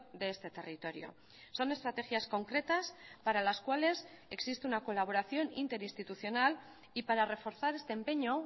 de este territorio son estrategias concretas para las cuales existe una colaboración interinstitucional y para reforzar este empeño